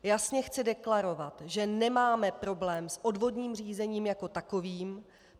Jasně chci deklarovat, že nemáme problém s odvodním řízením jako takovým.